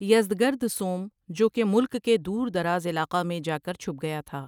Yazdegerd سوم جوکہ ملک کے دور درازعلاقہ میں جا کر چھپ گیا تھا ۔